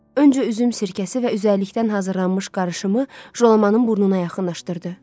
Öncə üzüm sirkəsi və üzərlikdən hazırlanmış qarışımı Jalamanın burnuna yaxınlaşdırdı.